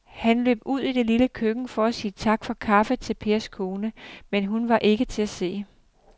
Han løb ud i det lille køkken for at sige tak for kaffe til Pers kone, men hun var ikke til at se.